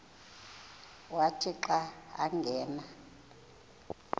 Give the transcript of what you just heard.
wathi xa angena